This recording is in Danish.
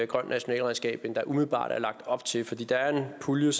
grønt nationalregnskab end der umiddelbart er lagt op til for der er en pulje